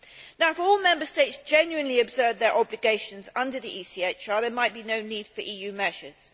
Now if all Member States genuinely observed their obligations under the ECHR, there might be no need for EU measures.